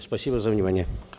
спасибо за внимание